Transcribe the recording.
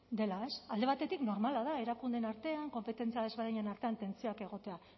dela alde batetik normala da erakundeen artean konpetentzia desberdinen artean tentsioak egotea